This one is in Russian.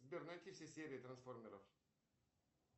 сбер найти все серии трансформеров